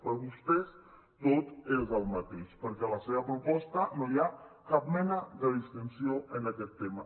per vostès tot és el mateix perquè a la seva proposta no hi ha cap mena de distinció en aquest tema